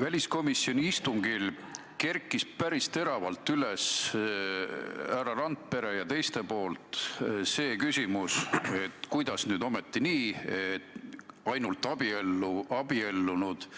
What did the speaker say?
Väliskomisjoni istungil kerkis päris teravalt üles härra Randpere ja teiste esitatud küsimus, et kuidas nüüd ometi nii, et ainult abiellunud